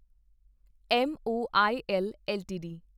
Moil LTD